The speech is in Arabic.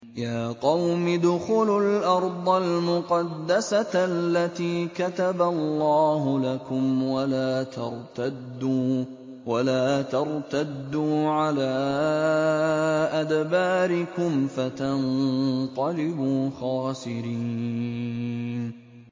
يَا قَوْمِ ادْخُلُوا الْأَرْضَ الْمُقَدَّسَةَ الَّتِي كَتَبَ اللَّهُ لَكُمْ وَلَا تَرْتَدُّوا عَلَىٰ أَدْبَارِكُمْ فَتَنقَلِبُوا خَاسِرِينَ